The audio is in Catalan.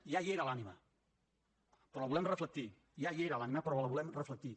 ja hi era l’ànima però la volem reflectir ja hi era l’ànima però la volem reflectir